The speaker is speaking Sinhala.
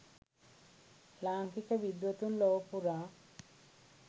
ලාංකික විද්වතුන් ලොව පුරා